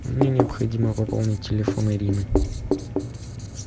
мне необходимо пополнить телефон ирины